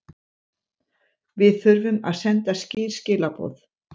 Við þurfum að senda skýr skilaboð